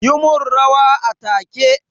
Yi min rawa a take!